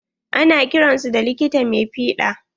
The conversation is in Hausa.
Ana kiran su da likita mai fiɗa.